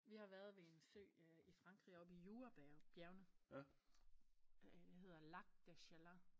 Vi har været ved en sø øh i Frankrig oppe i Jurabjergene hedder Lac de Chalain